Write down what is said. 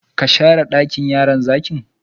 Ka share dakin yaron zaki?